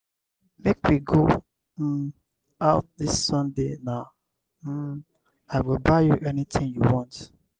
make we go um out dis sunday na um i go buy you anything you want.